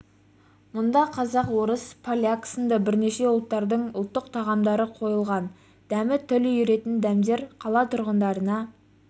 мұнда қазақ орыс поляк сынды бірнеше ұлттардың ұлттық тағамдары қойылған дәмі тіл үйіретін дәмдер қала тұрғындарына